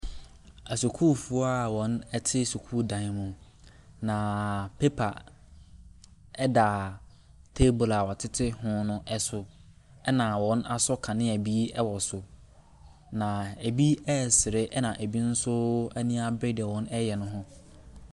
Asukuufoɔ a wɔte sukuu dan mu. Na paper da table a wɔtete ho no so, na wɔasɔ kanea bi wɔ so. Na bi ɛresere na bi nso ani abere deɛ wɔreyɛ no ho.